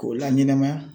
K'o la ɲɛnɛmaya